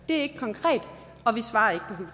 er ikke konkret og vi svarer